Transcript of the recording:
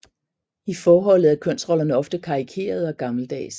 I forholdet er kønsrollerne ofte karikerede og gammeldags